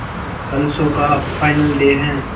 कल शो का final day है